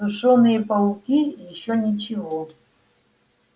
сушёные пауки ещё ничего